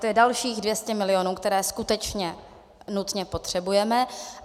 To je dalších 200 milionů, které skutečně nutně potřebujeme.